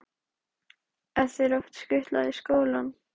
Helga: Er þér oft skutlað í skólann?